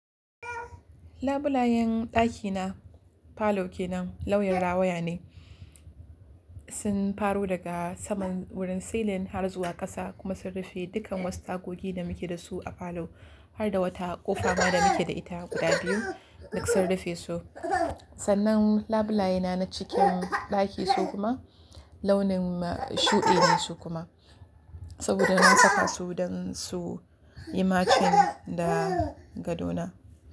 Labulayen ɗakina falo kenan, lauyan rawaya ne. Sun faro daga saman wurin silin har zuwa ƙasa kuma sun rufe dukkan wasu tagogi da muke da su a falo har da wata ƙofa ma da muke da ita guda biyu duk sun rufe su. Sannan labulaye na na cikin ɗaki su kuma launin shuɗi ne su kuma, saboda na saka su don su yi macin da gado na.